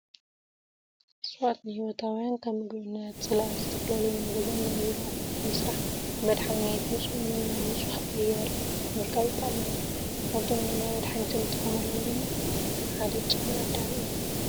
እፅዋት ንሂወታውያን ከም ምግብነት፣ ፅላል፣ ዝተፈላላዩ ናይ ገዛን ናይ ቢሮን ኣቁሑት ንምስራሕ፣ ንመድሓኒት፣ ንፁህ ኣየር ንምርካብን ይጠቅሙና። ካብቶም ንመድሓኒት እንጥቀመሎም ድማ ሓደ ጨና ኣዳም እዩ።